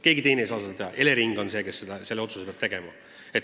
Keegi teine ei saa seda teha, Elering on see, kes selle otsuse peab tegema.